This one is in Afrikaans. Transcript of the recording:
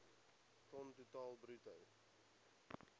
ton totaal bruto